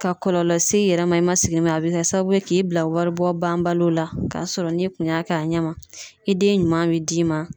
Ka kɔlɔlɔ s'i yɛrɛ ma, i ma sigi ni mun ye. A be kɛ sababu ye k'i bila wari bɔ banbaliw la ka sɔrɔ ni kun y'a kɛ a ɲɛ ma i den ɲuman bi d'i ma.